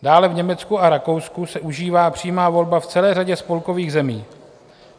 Dále v Německu a Rakousku se užívá přímá volba v celé řadě spolkových zemí.